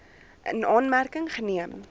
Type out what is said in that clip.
in aanmerking geneem